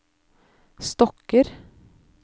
stokker